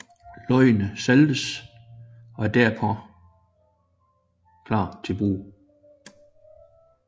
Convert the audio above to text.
Løgene saltes og er derpå klar til brug